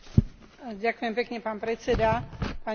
Vojnu na Ukrajine vnímam ako tragédiu.